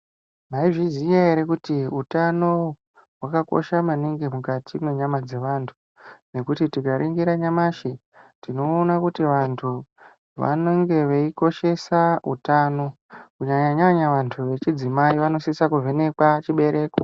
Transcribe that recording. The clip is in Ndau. Mwaizviziya ere, kuti utano hwakakosha maningi mukati mwenyama dzevantu. Ngekuti tikaringira nyamashi, tinoona kuti vantu vanenge veikoshesa utano. Kunyanya-nyanya vantu vechidzimai vanosisa kuvhenekwa chibereko